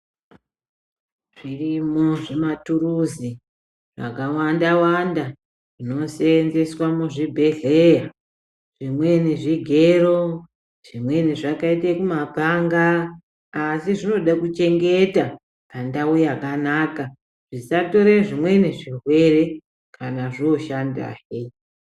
Zvirimo zvimatuluzi zvakawanda wanda zvinosenzeswa muzvibhehleya zvimweni zvigero zvimweni zvakaite kumapanga asi zvinode kuchengeta pandau yakanaka zvisatore zvimweni zvirwere kana zvoshandahe.